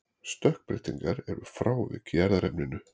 stökkbreytingar eru frávik í erfðaefninu